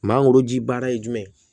Maa woroji baara ye jumɛn ye